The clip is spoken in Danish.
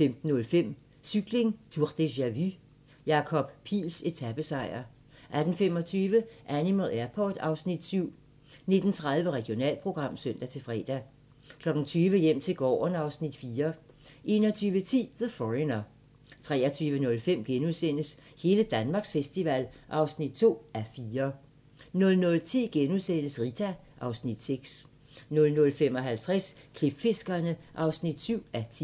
15:05: Cykling: Tour deja-vu - Jakob Piils etapesejr 18:25: Animal Airport (Afs. 7) 19:30: Regionalprogram (søn-fre) 20:00: Hjem til gården (Afs. 4) 21:10: The Foreigner 23:05: Hele Danmarks festival (2:4)* 00:10: Rita (Afs. 6)* 00:55: Klipfiskerne (7:10)